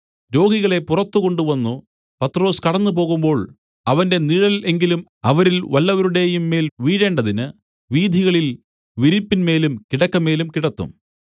രോഗികളെ പുറത്തു കൊണ്ടുവന്നു പത്രൊസ് കടന്നുപോകുമ്പോൾ അവന്റെ നിഴൽ എങ്കിലും അവരിൽ വല്ലവരുടെയുംമേൽ വീഴേണ്ടതിന് വീഥികളിൽ വിരിപ്പിന്മേലും കിടക്കമേലും കിടത്തും